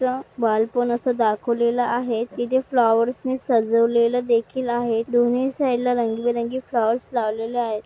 चा बालपण असा दाखवलेल आहे ही जे फ्लॉवर्स नी सजवलेल देखील आहे दोनी साइडला रंगी-बिरंगी फ्लॉवर्स लावलेल आहेत.